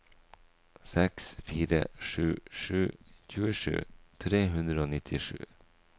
seks fire sju sju tjuesju tre hundre og nittisju